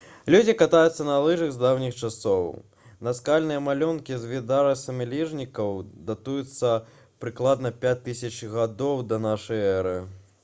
людзі катаюцца на лыжах з даўніх часоў наскальныя малюнкі з відарысамі лыжнікаў датуюцца прыкладна 5000 г да нашай эры